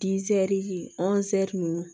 ninnu